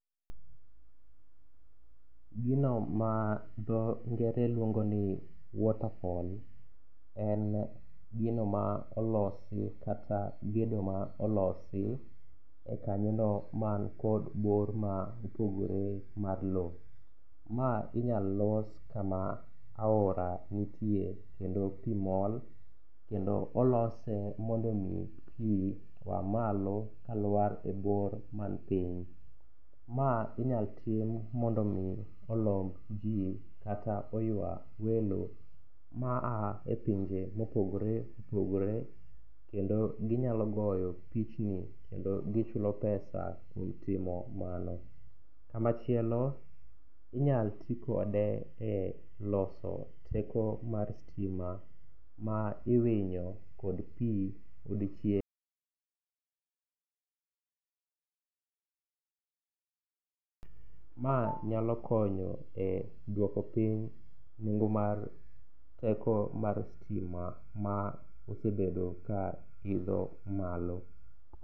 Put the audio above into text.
Gino ma dho ngere luongo ni water fall en gino ma olosi kata gedo ma olosi e kanyono mankod bor ma opogore mar lo. Ma inyal los kama aora nitie kendo pi mol kendo olose mondo omi pi oa malo kalwar e bor manpiny. Ma inyal tim mondo omi olomb ji kata oywa welo ma a e pinje mopogore opogore kendo ginyalo goyo pichni kendo gichulo pesa e i timo mano. Kamachielo inyal ti kode e loso teko mar stima ma iwinyo kod pi, ma nyalo konyo e duoko piny nengo mar teko mar stima ma osebedo ka idho malo.